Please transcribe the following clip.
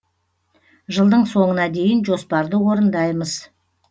жылдың соңына дейін жоспарды орындаймыз